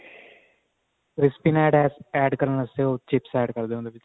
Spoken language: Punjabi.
crispy ਨੇ add ਕਰਨ ਵਾਸਤੇ ਉਹ chips add ਕਰਦੇ ਉਹਦੇ ਵਿੱਚ